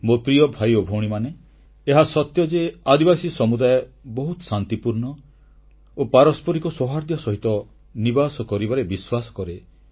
ମୋ ପ୍ରିୟ ଭାଇ ଓ ଭଉଣୀମାନେ ଏହା ସତ୍ୟ ଯେ ଆଦିବାସୀ ସମୁଦାୟ ବହୁତ ଶାନ୍ତିପୂର୍ଣ୍ଣ ଓ ପାରସ୍ପରିକ ସୌହାର୍ଦ୍ଦ୍ୟ ସହିତ ନିବାସ କରିବାରେ ବିଶ୍ୱାସ କରେ